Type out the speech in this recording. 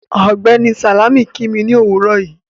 Ọgbẹ́ni Salámì kí mí ni owúrọ̀ yìí